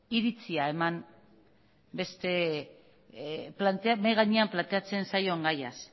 iritzia eman mahai gainean planteatzen zaion gaiaz